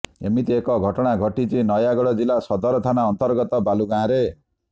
ଏମିତି ଏକ ଘଟଣା ଘଟିଛି ନୟାଗଡ଼ ଜିଲ୍ଲା ସଦର ଥାନା ଅନ୍ତର୍ଗତ ବାଲୁଗାଁରେ